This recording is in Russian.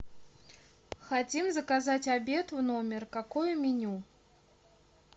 хотим заказать обед в номер какое меню